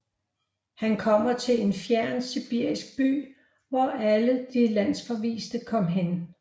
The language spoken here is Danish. Han kommer til en fjern sibirisk by hvor alle de landsforviste kom hen